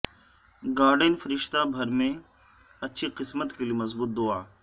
guardian فرشتہ بھر میں اچھی قسمت کے لئے مضبوط دعا